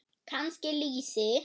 Kannski lýsi?